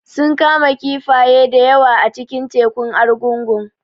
Sun kama kifaye da yawa a cikin tekun Argungu